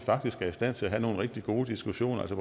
er i stand til at have nogle rigtig gode diskussioner også